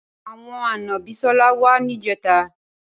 Awòn ànã Bisola wà nijètá